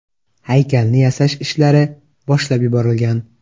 Haykalni yasash ishlari boshlab yuborilgan.